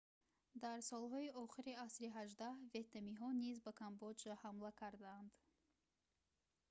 дар солҳои охири асри 18 ветнамиҳо низ ба камбоҷа ҳамла карданд